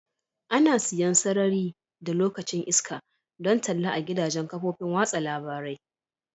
Ana siyan sarari da lokacin iska don talla a gidajen kafofin watsa labarai.